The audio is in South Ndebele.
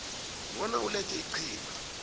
bona ulethe iqhinga